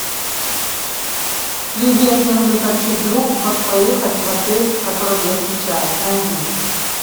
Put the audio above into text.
привет мне нужно сообщить другу как проехать в отель в котором я сейчас найди